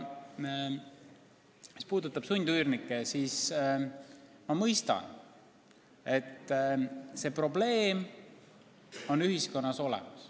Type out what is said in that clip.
Mis puudutab sundüürnikke, siis ma mõistan, et see probleem on ühiskonnas olemas.